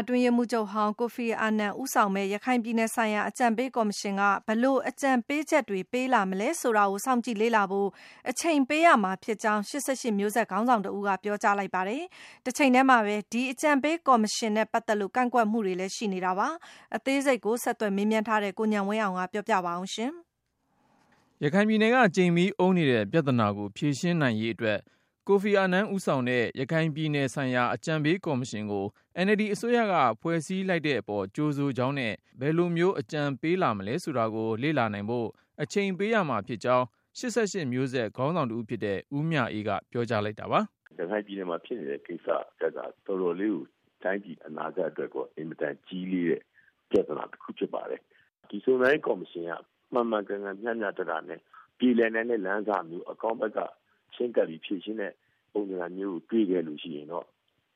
အတွင်းရေးမှူးချုပ်ဟောင်း Kofi Annan ဦးဆောင်မယ့် ရခိုင်ပြည်နယ်ဆိုင်ရာ အကြံပေးကော်မရှင်က ဘယ်လို အကြံပေးချက်တွေ ပေးလာမလဲဆိုတာကို စောင့်ကြည့်လေ့လာဖို့ အချိန်ပေးရမှာဖြစ်ကြောင်း ၈၈မျိုးဆက်ခေါင်းဆောင်တဦးက ပြောကြားလိုက်ပါတယ်။ တချိန်ထဲ မှာပဲ ဒီ အကြံပေးကော်မရှင်နဲ့ ပတ်သက်လို့ ကန့်ကွက်မှုတွေလည်း ရှိနေတာပါ။ ဆက်သွယ်မေးမြန်းထားတဲ့ ကိုဉာဏ်ဝင်းအောင်က တင်ပြပါမယ်။ ရခိုင်ပြည်နယ်က ကြိမ်မီးအုံးနေတဲ့ပြဿနာကို ဖြေရှင်းနိုင်ရေးအတွက် Kofi Annan ဦးဆောင်တဲ့ ရခိုင်ပြည်နယ်ဆိုင်ရာ အကြံပေးကော်မရှင် ကို NLD အစိုးရက ဖွဲ့စည်းလိုက်တဲ့အပေါ် ကြိုဆိုကြောင်းနဲ့ ဒီ အကြံပေးကော်မရှင်က ဘယ်လိုမျိုး အကြံပေးလာမလဲဆိုတာကို လေ့လာနိုင်ဖို့ အချိန်ပေးရမှာဖြစ်ကြောင်း ၈၈မျိုးဆက် ခေါင်းဆောင်တဦးဖြစ်တဲ့ ဦးမြအေးက ပြောကြားလိုက်တာပါ။ “ရခိုင်ပြည်နယ်မှာဖြစ်နေတဲ့ကိစ္စက တော်တော်လေးကို တိုင်းပြည်အတွက် အနာဂတ်အတွက် အင်မတန်ကြီးလေးတဲ့ ပြဿနာ တခုဖြစ်ပါတယ်။ ဒီစုံစမ်းရေးကော်မရှင်က မှန်မှန်ကန်ကန်မျှမျှတတနဲ့ ပြေလည်နိုင်တဲ့လမ်းစမျိုး အကောင်းဘက်က ချည်းကပ်ပြီး ဖြေရှင်းတဲ့ ပုံသဏ္ဌာန် မျိုးတွေ့ရှိခဲ့လို့ရှိရင်တော့